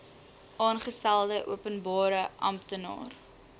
aangestelde openbare amptenaar